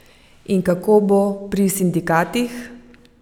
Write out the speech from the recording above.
In kako bo pri sindikatih?